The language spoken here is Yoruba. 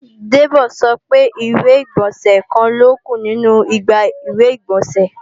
Debo sọ pé ìwé-ìgbọ̀nsẹ̀ kan ló kù nínu igbá ìwé-ìgbọ̀nsẹ̀